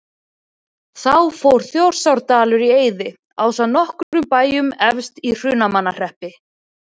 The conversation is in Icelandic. Þá fór Þjórsárdalur í eyði ásamt nokkrum bæjum efst í Hrunamannahreppi.